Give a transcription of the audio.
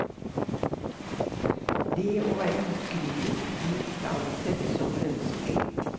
Det å være ukritisk blir ikke ansett som ønskelig.